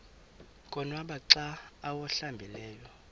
konwaba xa awuhlambileyo